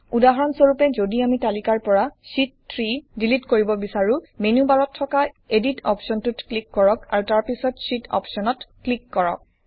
উদাহৰণ স্বৰূপে যদি আমি তালিকাৰ পৰা শীত 3 ডিলিট কৰিব বিছাৰোঁ মেনু বাৰত থকা এডিট অপশ্বনটোত ক্লিক কৰক আৰু তাৰ পিছত Sheetঅপচনত ক্লিক কৰক